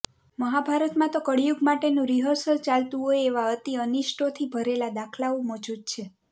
મહાભારતમાં તો કળિયુગ માટેનું રિહર્સલ ચાલતું હોય એવાં અતિ અનિષ્ટોથી ભરેલા દાખલાઓ મોજૂદ છે